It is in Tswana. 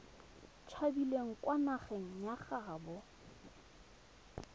tshabileng kwa nageng ya gaabo